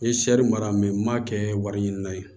N ye seri mara m'a kɛ wari ɲini na ye